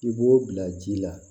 I b'o bila ji la